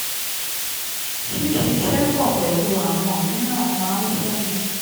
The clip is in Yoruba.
ṣíṣiṣẹ́ pọ̀ pẹ̀lú àwọn míràn máa ń fúnni